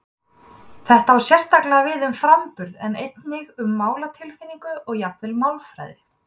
Þetta á sérstaklega við um framburð en einnig um máltilfinningu og jafnvel málfræði.